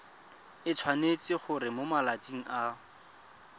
tshwanetse gore mo malatsing a